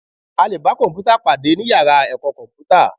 A lè bá kọ̀m̀pútà pàdé ní yàrá ẹ̀kọ́ kọ̀mpútà